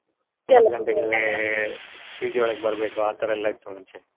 PG ಒಳ್ಗಡೆ ಬರ್ಬೇಕು ಆ ತರ ಎಲ್ಲಾ ಇತ್ತು ಮುಂಚೆ.